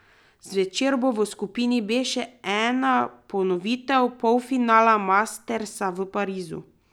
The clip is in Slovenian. Zvečer bo v skupini B še ena ponovitev polfinala mastersa v Parizu.